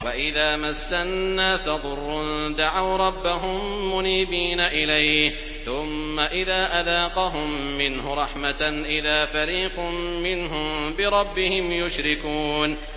وَإِذَا مَسَّ النَّاسَ ضُرٌّ دَعَوْا رَبَّهُم مُّنِيبِينَ إِلَيْهِ ثُمَّ إِذَا أَذَاقَهُم مِّنْهُ رَحْمَةً إِذَا فَرِيقٌ مِّنْهُم بِرَبِّهِمْ يُشْرِكُونَ